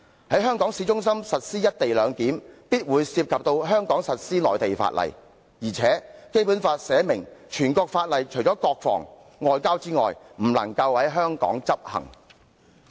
在香港市中心進行"一地兩檢"，必會涉及在港實施內地法例的問題，況且《基本法》已訂明，除了國防、外交之外，全國性法例不能在香港執行。